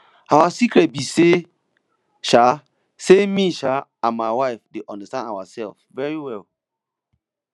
our secret be um say um say me um and my wife dey understand ourselves very well